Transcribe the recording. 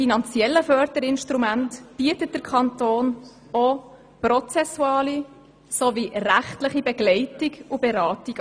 Zudem bietet der Kanton auch prozessuale sowie rechtliche Begleitung und Beratung.